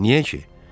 Niyə ki?